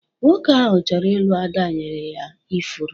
Nwoke ahu chọrọ ịlụ Ada nyere ya ifuru